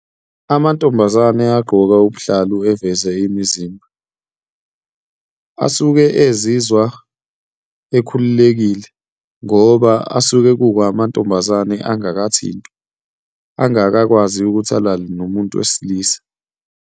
Amantombazane agqoka ubuhlalu eveze imizimba, asuke ezizwa ekhululekile ngoba asuke kuwu amantombazane angakathintwa, angakakwazi ukuthi alale nomuntu wesilisa.